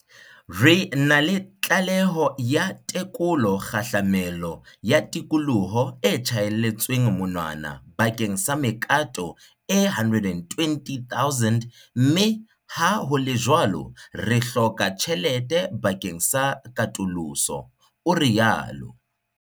"Re na le tlaleho ya tekolo kgahlamelo ya tikoloho e tjhaelletsweng monwana bakeng sa mekato e 120 000 mme ha ho le jwalo re hloka tjhelete bakeng sa katoloso" o rialo.